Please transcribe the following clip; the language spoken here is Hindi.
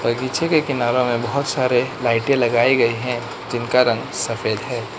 पीछे के किनारो में बहोत सारे लाइटे लगाई गई हैं जिनका रंग सफेद है।